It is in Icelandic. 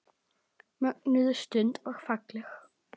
Mögnuð stund og falleg.